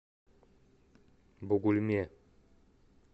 бугульме